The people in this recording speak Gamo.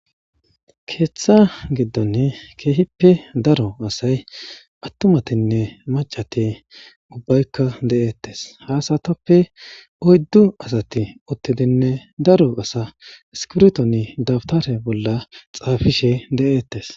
Keeththa giddonne keehippe daro asay attumatinne macati ubbaykka de'eettes haasatappe oyddu asati uttidinne daro asa skirtoni dabtare bolla xaafishe de'eettes.